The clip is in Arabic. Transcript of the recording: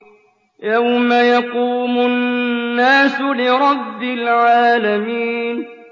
يَوْمَ يَقُومُ النَّاسُ لِرَبِّ الْعَالَمِينَ